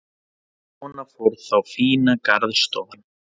Svona fór þá fína garðstofan.